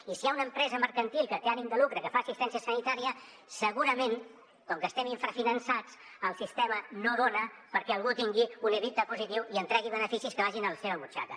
i si hi ha una empresa mercantil que té ànim de lucre que fa assistència sanitària segurament com que estem infrafinançats el sistema no dona perquè algú tingui un ebitda positiu i en tregui beneficis que vagin a la seva butxaca